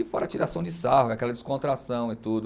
E fora a tiração de sarro, aquela descontração e tudo.